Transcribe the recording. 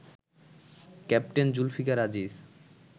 captain Zulfikar Aziz